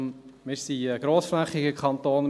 Wir sind ein grossflächiger Kanton.